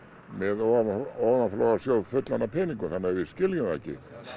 með ofanflóðasjóð fullan af peningum þannig að við skiljum það ekki